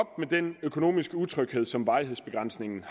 med den økonomiske utryghed som varighedsbegrænsningen